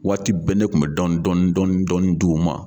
Waati bɛɛ ne kun bɛ dɔɔni dɔɔni dɔɔni dɔɔni di u ma.